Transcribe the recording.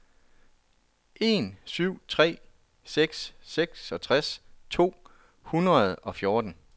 en syv tre seks seksogtres to hundrede og fjorten